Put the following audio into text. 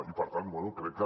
i per tant bé crec que